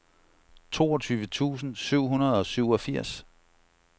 toogtyve tusind syv hundrede og syvogfirs